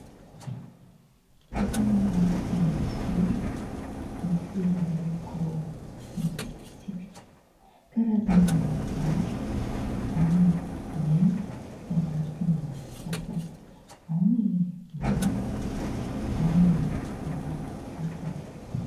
Saina mahitsy zoro misy loko mitsipitsipika karazany maro ; ao ny mena izay mariky ny fitiavana ; ao ny manga, ao ny mavo ary maitso.